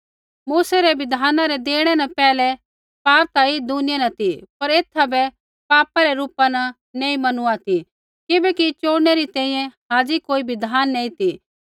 मूसै रै बिधाना रै देणै न पैहलै पाप ता ऐई दुनिया न ती पर एथा बै पापा रै रूपा न नैंई मैनूआ ती किबैकि चोड़नै री तैंईंयैं हाज़ी कोई बिधान नैंई ती